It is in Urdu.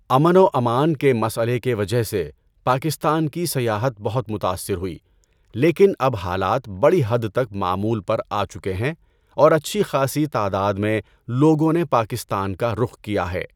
امن و امان کے مسئلے کے وجہ سے پاکستان کی سیاحت بہت متاثر ہوئی لیکن اب حالات بڑی حد تک معمول پر آچکے ہیں اور اچھی خاصی تعداد میں لوگوں نے پاکستان کا رُخ کیا ہے۔